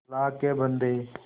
अल्लाह के बन्दे